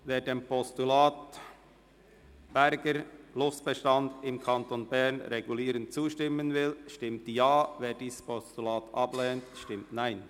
Wer dem Postulat «Luchsbestand im Kanton Bern regulieren» zustimmt, stimmt Ja, wer dieses Postulat ablehnt, stimmt Nein.